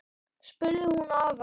spurði hún afa.